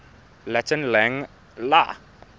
latin lang la